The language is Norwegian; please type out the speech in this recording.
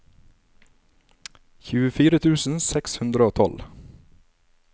tjuefire tusen seks hundre og tolv